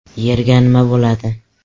Yerga nima bo‘ladi?.